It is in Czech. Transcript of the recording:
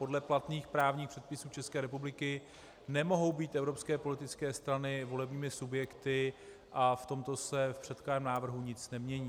Podle platných právních předpisů České republiky nemohou být evropské politické strany volebními subjekty a v tomto se v předkládaném návrhu nic nemění.